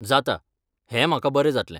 जाता, हें म्हाका बरें जातलें.